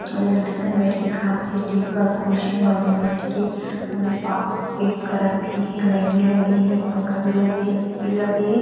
ओदे लड़की मन बईठ के खाथे टेबल कुर्सी मा बईठ के ओदे पा पैक करत भी हे लाइट भी लगे हे पँखा भी लगे हे ए. सी. लगे हे।